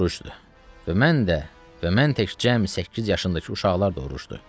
Və mən də, və mən tək cəmi səkkiz yaşındakı uşaqlar da orucdur.